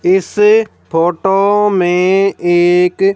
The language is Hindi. इस फोटो में एक --